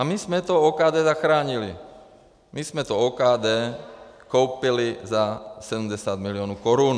A my jsme to OKD zachránili, my jsme to OKD koupili za 70 mil. korun.